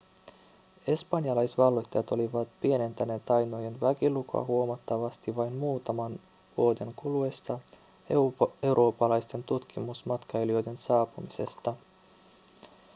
espanjalaisvalloittajat olivat pienentäneet tainojen väkilukua huomattavasti vain muutaman vuoden kuluessa eurooppalaisten tutkimusmatkailijoiden saapumisesta